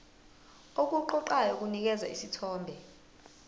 okuqoqayo kunikeza isithombe